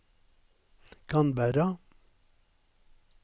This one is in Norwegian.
Canberra